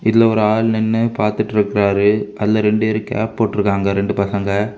இதுல ஒரு ஆள் நின்னு பாத்துட்டு இருக்காரு அதுல ரெண்டுவேரு கேப் போட்டிருக்காங்க ரெண்டு பசங்க.